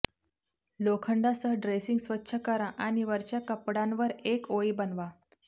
लोखंडासह dressing स्वच्छ करा आणि वरच्या कापडांवर एक ओळी बनवा